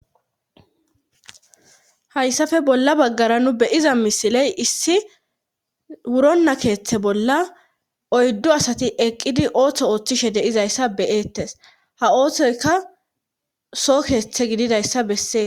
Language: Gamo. Hayssafe bolla baggara nu beyiza misiley issi wuronna keeththe bolla oyddo asati eqqidi ooththo ooththishe deizayssa beyeettes ha ooththoyka so keeththe gididayssa bessee.